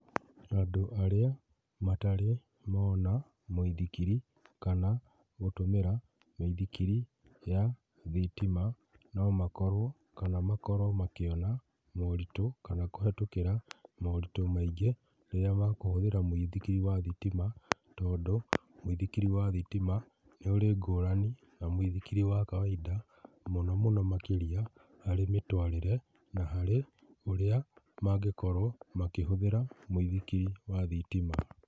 Andũ arĩa matarĩ mona mũithikiri kana gũtũmĩra mĩithikiri ya thitima no makorwo kana makorwo makĩona moritũ kana kũhĩtũkĩra moritũ maingĩ rĩrĩa makũhũthĩra mũithikiri wa thitima, tondũ mũithikiri wa thitima nĩ ũrĩ ngũrani na mũithikiri wa kawaida mũno mũno makĩria harĩ mĩtũarĩre na harĩ ũrĩa mangĩkorwo makĩhũthĩra mũithikiri wa thitima